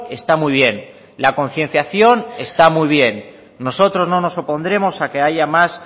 está muy bien la concienciación está muy bien nosotros no nos opondremos a que haya más